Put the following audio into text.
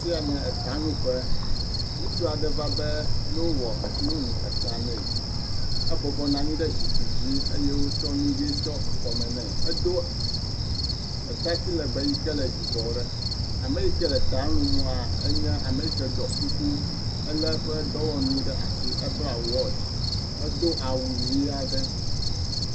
Afi ya ny eta luƒe, ŋutsu aɖe va be nolu ta na ye, ebɔbɔnɔ anyi ɖe zikpui dzi eye wotsɔ nu ʋe aɖe bu kɔ nɛ, edo atati lebee yike le yibɔ ɖe ame yike le eta lua enye ame yike ɖɔ kuku elé eƒe dɔwɔnu ɖe asi ebla watch edo awu ʋi aɖe